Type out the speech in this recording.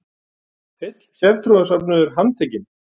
HEILL SÉRTRÚARSÖFNUÐUR HANDTEKINN.